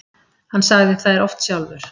Hann sagði þær oft sjálfur.